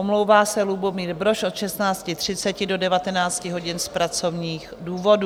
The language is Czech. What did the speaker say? Omlouvá se Lubomír Brož od 16.30 do 19 hodin z pracovních důvodů.